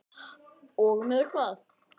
Og með hvað?